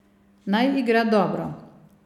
Naj igra dobro.